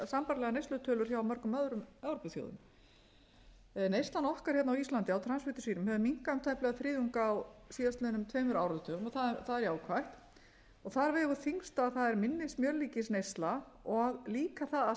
sambærilegar neyslutölur hjá mörgum öðrum evrópuþjóðum neyslan okkar hérna á íslandi á transfitusýrum hefur minnkað um tæplega þriðjung á síðastliðnum tveimur áratugum það er jákvætt þar vegur þyngst að það er minni smjörlíkisneysla og líka það að